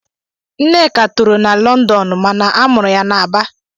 Nneka toro na Londonu mana a mụrụ ya na Aba